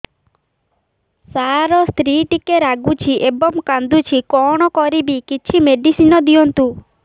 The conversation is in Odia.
ସାର ସ୍ତ୍ରୀ ଟିକେ ରାଗୁଛି ଏବଂ କାନ୍ଦୁଛି କଣ କରିବି କିଛି ମେଡିସିନ ଦିଅନ୍ତୁ